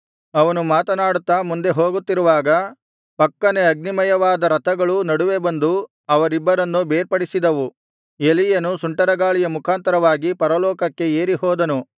ಅವರು ಮಾತನಾಡುತ್ತಾ ಮುಂದೆ ಹೋಗುತ್ತಿರುವಾಗ ಪಕ್ಕನೆ ಅಗ್ನಿಮಯವಾದ ರಥಗಳು ನಡುವೆ ಬಂದು ಅವರಿಬ್ಬರನ್ನು ಬೇರ್ಪಡಿಸಿದವು ಎಲೀಯನು ಸುಂಟರಗಾಳಿಯ ಮುಖಾಂತರವಾಗಿ ಪರಲೋಕಕ್ಕೆ ಏರಿ ಹೋದನು